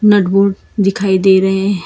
नट bolt दिखाई दे रहे हैं।